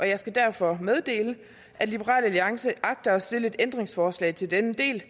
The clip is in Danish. jeg skal derfor meddele at liberal alliance agter at stille et ændringsforslag til denne del